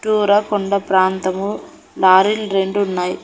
చుట్టూరా కొండ ప్రాంతము లారీలు రెండున్నాయ్.